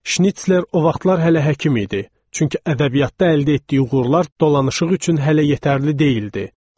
Şnitsler o vaxtlar hələ həkim idi, çünki ədəbiyyatda əldə etdiyi uğurlar dolanışıq üçün hələ yetərli deyildi.